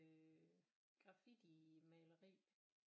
Øh graffitimaleri